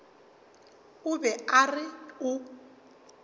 o be a re o